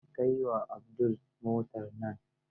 Kai wa Abdullahi motar nan.